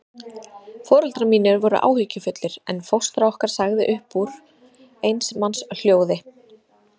Foreldrar mínir voru áhyggjufullir, en fóstra okkar sagði upp úr eins manns hljóði